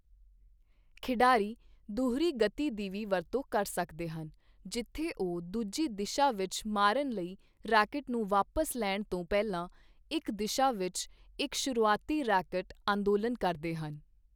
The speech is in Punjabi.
ਖਿਡਾਰੀ ਦੂਹਰੀ ਗਤੀ ਦੀ ਵੀ ਵਰਤੋਂ ਕਰ ਸਕਦੇ ਹਨ, ਜਿੱਥੇ ਉਹ ਦੂਜੀ ਦਿਸ਼ਾ ਵਿੱਚ ਮਾਰਨ ਲਈ ਰੈਕੇਟ ਨੂੰ ਵਾਪਸ ਲੈਣ ਤੋਂ ਪਹਿਲਾਂ ਇੱਕ ਦਿਸ਼ਾ ਵਿੱਚ ਇੱਕ ਸ਼ੁਰੂਆਤੀ ਰੈਕੇਟ ਅੰਦੋਲਨ ਕਰਦੇ ਹਨ।